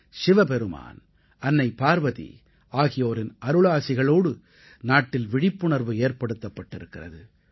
சிவபெருமான் அன்னை பார்வதி ஆகியோரின் அருளாசிகளோடு நாட்டில் விழிப்புணர்வு ஏற்படுத்தப்பட்டிருக்கிறது